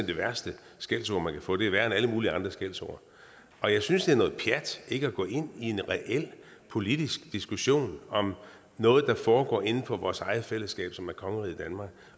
det værste skældsord man kan få det er værre end alle mulige andre skældsord og jeg synes er noget pjat ikke at gå ind i en reel politisk diskussion om noget der foregår inden for vores eget fællesskab som er kongeriget danmark